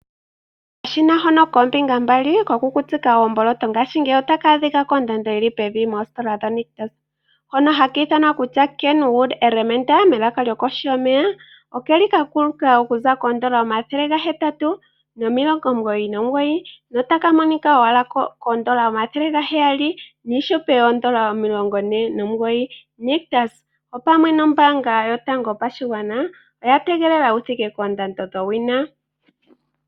Okashina hono koombinga mbali kokukutika oomboloto ngaashingeyi ota ka adhika kondando yi li pevi koositola dhoNictus hono haku tiwa Keenwood Elementa okakuluka okuza kooN$ 899 notaka monika owala kooN$ 749. Nictus opwamwe nombaanga yotango yopashigwana oya tegelela wu thike koondando dhowina.